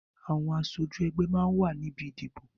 Àwọn aṣojú ẹgbẹ́ máa ń wà níbi ìdìbò